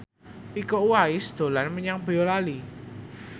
Iko Uwais dolan menyang Boyolali